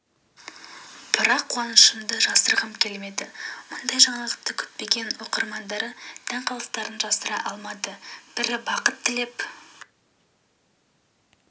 бірақ қуанышымды жасырғым келмеді мұндай жаңалықты күтпеген оқырмандары таң қалыстарын жасыра алмады бірі бақыт тілеп